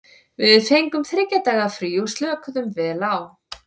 Við fengum þriggja daga frí og slökuðum vel á.